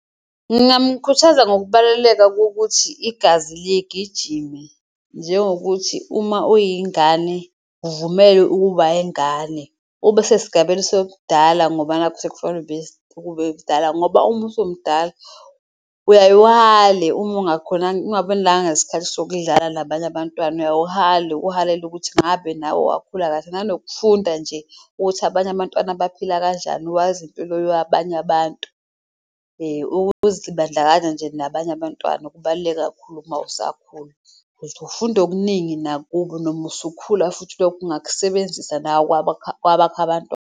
Ngingamkhuthaza ngokubaluleka kokuthi igazi ligijime njengokuthi uma uyingane uvumele ukuba ingane, ube sesigabeni sobudala ngoba nakhu sekufanele ube ngoba uma usumdala uyaye uhale uma nesikhathi sokudlala nabanye abantwana. Uyayuhale uhalele ukuthi ngabe nawe wakhula kahle nanokufunda nje ukuthi abanye abantwana baphila kanjani, wazi impilo abantu ukuzibandlakanya nje nabanye abantwana. Kakhulu uma usakhula ufunda okuningi nakubo noma usukhula, futhi lokho ungakusebenzisa nawe kwabakho abantwana.